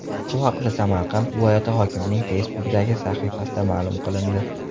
Bu haqda Samarqand viloyati hokimining Facebook’dagi sahifasida ma’lum qilindi.